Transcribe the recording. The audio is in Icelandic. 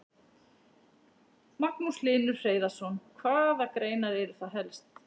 Magnús Hlynur Hreiðarsson: Hvaða greinar eru það helst?